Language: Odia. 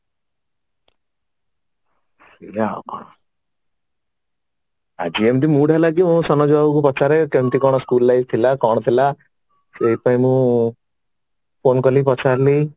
ସେଇଆ ଆଉ କଣ ଆଜି ଏମିତି mood ହେଲା କି ପଚାରେ କେମିତି କଣ school life ଥିଲା କଣ ଥିଲା ସେଇଥି ପାଇଁ ମୁଁ phone କଲି ପଚାରିଲି